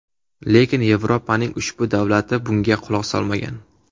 Lekin Yevropaning ushbu davlati bunga quloq solmagan.